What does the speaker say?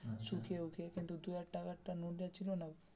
শুখিয়ে উখিয়ে যা দু হাজার টাকার নোট যা ছিল না,